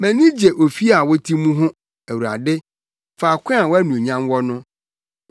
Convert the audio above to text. Mʼani gye ofi a wote mu ho, Awurade, faako a wʼanuonyam wɔ no.